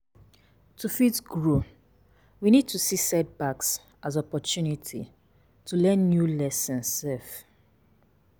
To fit grow we need to see set backs as opportunity to learn new lessons um